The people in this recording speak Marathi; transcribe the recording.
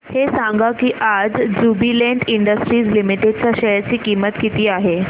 हे सांगा की आज ज्युबीलेंट इंडस्ट्रीज लिमिटेड च्या शेअर ची किंमत किती आहे